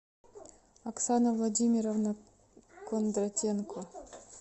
оксана владимировна кондратенко